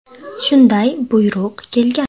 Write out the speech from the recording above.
Shunday buyruq kelgan.